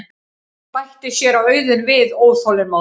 bætti séra Auðunn við óþolinmóður.